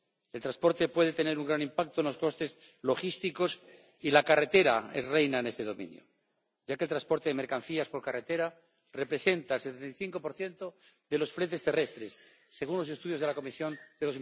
El transporte puede tener un gran impacto en los costes logísticos, y la carretera es reina en este dominio, ya que el transporte de mercancías por carretera representa el 65 de los fletes terrestres, según los estudios de la Comisión de